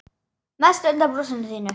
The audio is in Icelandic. Mest undan brosinu þínu.